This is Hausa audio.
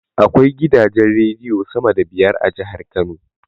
Akwai gidajen rediyo sama da biyar a jahar kano